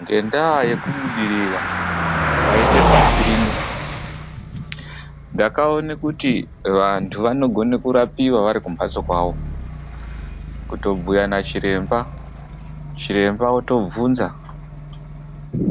Ngendayekubudirira kwaita pasi rino, ndakaona kuti vantu vanogona kurapiwa vari kumbatso kwavo, kutobhuya nachiremba. Chiremba otobvunza